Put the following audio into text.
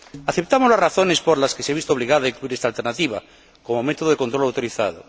Aceptamos las razones por las que se ha visto obligado a incluir esta alternativa como método de control autorizado.